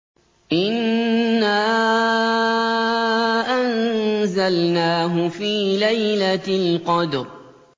إِنَّا أَنزَلْنَاهُ فِي لَيْلَةِ الْقَدْرِ